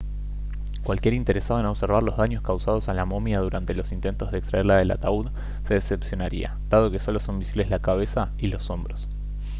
cualquier interesado en observar los daños causados a la momia durante los intentos de extraerla del ataúd se decepcionaría dado que solo son visibles la cabeza y los hombros